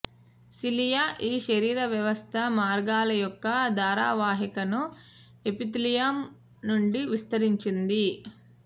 cilia ఈ శరీర వ్యవస్థ మార్గాల యొక్క ధారావాహికను ఎపిథీలియం నుండి విస్తరించింది